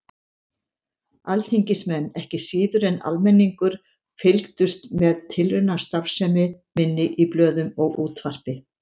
Alþingismenn, ekki síður en almenningur, fylgdust með tilraunastarfsemi minni í blöðum og útvarpi.